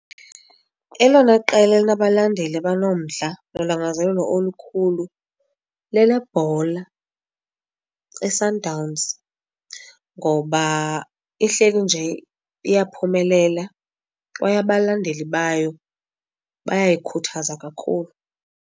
Elona qela elinabalandeli abanomdla nolangazelelo olukhulu lelebhola iSundowns ngoba ihleli nje iyaphumelela kwaye abalandeli bayo bayayikhuthaza kakhulu.